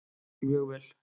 Mjög vel